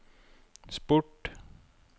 sport